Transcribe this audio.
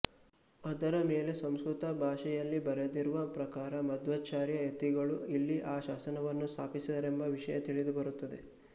ಅದರಮೇಲೆ ಸಂಸ್ಕೃತ ಭಾಷೆಯಲ್ಲಿ ಬರೆದಿರುವ ಪ್ರಕಾರ ಮಧ್ವಾಚಾರ್ಯ ಯತಿಗಳು ಇಲ್ಲಿ ಆ ಶಾಸನವನ್ನು ಸ್ಥಾಪಿಸಿದರೆಂಬ ವಿಷಯ ತಿಳಿಯಬರುತ್ತದೆ